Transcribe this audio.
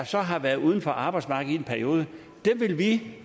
så har været uden for arbejdsmarkedet i en periode dem vil vi